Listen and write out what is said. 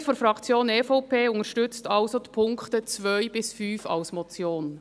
Die Mehrheit der Fraktion EVP unterstützt die Punkte 2 bis 5 als Motion.